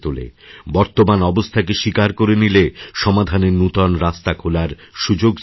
বর্তমান অবস্থাকে স্বীকার করে নিলেসমাধানের নূতন রাস্তা খোলার সুযোগ সৃষ্টি হয়